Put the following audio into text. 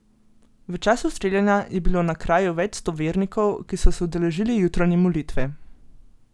V času streljanja je bilo na kraju več sto vernikov, ki so se udeležili jutranje molitve.